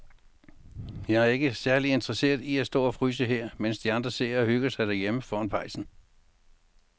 Jeg er ikke særlig interesseret i at stå og fryse her, mens de andre sidder og hygger sig derhjemme foran pejsen.